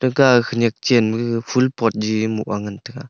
ka khanyak channu phul pot jen nu ma ngan taga.